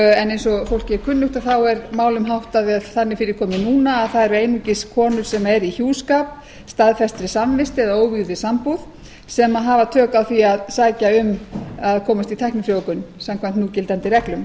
en eins og fólki er kunnugt þá er málum háttað eða þannig fyrir komið núna að það eru einungis konur sem eru í hjúskap staðfestri samvist eða óvígðri sambúð sem hafa tök á því að sækja um að komast í tæknifrjóvgun samkvæmt núgildandi reglum